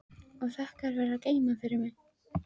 Og þakka þér fyrir að geyma hann fyrir mig.